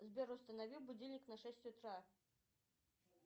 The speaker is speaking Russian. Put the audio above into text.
сбер установи будильник на шесть утра